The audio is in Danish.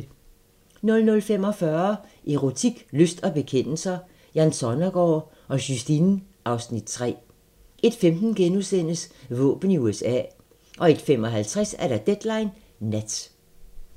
00:45: Erotik, lyst og bekendelser - Jan Sonnergaard og Justine (Afs. 3) 01:15: Våben i USA * 01:55: Deadline Nat